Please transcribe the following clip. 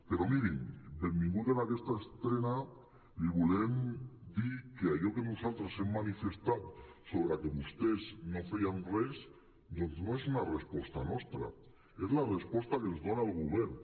però miri benvingut en aquesta estrena i li volem dir que allò que nosaltres hem manifestat sobre que vostès no feien res doncs no és una resposta nostra és la resposta que ens dona el govern